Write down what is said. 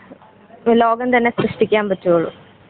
ലോകം തന്നെ സൃഷ്ടിക്കാൻ പറ്റുവൊള്ളൂ.